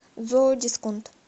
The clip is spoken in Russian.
зоодисконт